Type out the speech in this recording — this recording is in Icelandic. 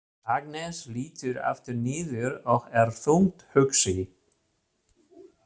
Agnes lítur aftur niður og er þungt hugsi.